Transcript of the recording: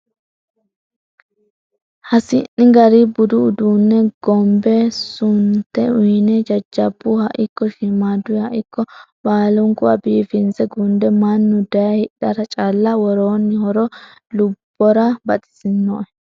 Hasi'ni gari budu uduune gombe sude uyine jajjabbuha ikko shiimaduha ikko baalunkuha biifinse gunde mannu daaye hidhara calla worooni horo lubbora baxisinoe.